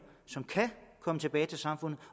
kan komme tilbage til samfundet